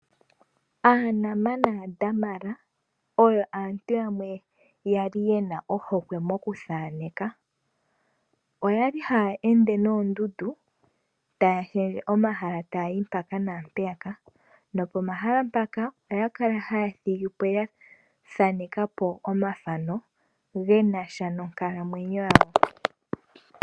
AaNama naaDamara oyo aantu yamwe ya li yena ohokwe mokuthaaneka. Oyali haya ende noondundu taya shendje omahala taya yi mpaka naampeya ka nopomahala mpaka oya kala haya thigi po ya thaaneka omathano gena sha nonkalamwenyo yawo.